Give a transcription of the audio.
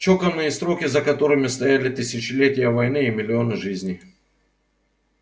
чеканные строки за которыми стояли тысячелетия войны и миллионы жизней